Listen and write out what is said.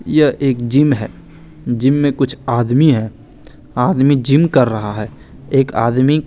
यह एक जिम है जिम में कुछ आदमी हैं आदमी जिम कर रहा है एक आदमी--